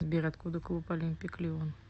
сбер откуда клуб олимпик лион